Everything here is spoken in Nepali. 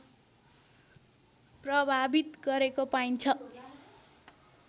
प्रभावित गरेको पाइन्छ